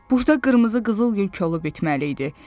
Burda qırmızı qızıl gül kolu bitməli idi.